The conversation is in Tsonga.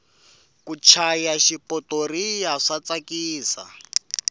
ku chaya xipotoriya swa tsakisa